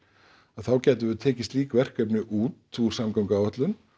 þá gætum við tekið slík verkefni út úr samgönguáætlun